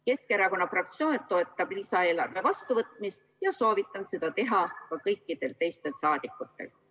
Keskerakonna fraktsioon toetab lisaeelarve vastuvõtmist ja soovitan seda teha ka kõikidel teistel saadikutel.